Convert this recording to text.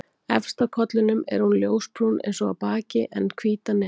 Efst á kollinum er hún ljósbrún eins og á baki en hvít að neðan.